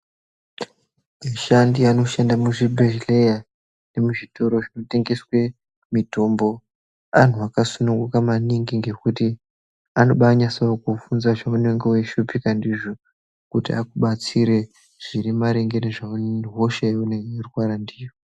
Ashandi anoshanda muzvibhehleya nemuzvitoro zvinotengese mitombo antu akasununguka maningi ngekuti anobanaso kukuvhunza zvaunenge weishupika ndizvo kuti akubatsire zviri maringe ngehosha yaunenge weirwara ndiyo.